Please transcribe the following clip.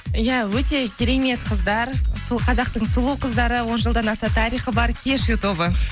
иә өте керемет қыздар сол қазақтың сұлу қыздары он жылдан аса тарихы бар кешью тобы